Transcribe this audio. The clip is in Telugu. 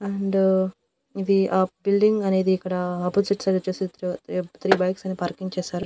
అండ్ ఇది ఆ బిల్డింగ్ అనేది ఇక్కడ ఆపోజిట్ సైడొచ్చేసి త్రీ త్రీ త్రీ బైక్స్ అని పార్కింగ్ చేశారు.